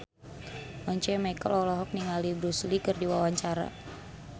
Once Mekel olohok ningali Bruce Lee keur diwawancara